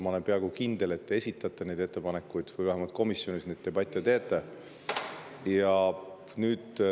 Ma olen peaaegu kindel, et te esitate neid ettepanekuid või vähemalt komisjonis neid debatte peate.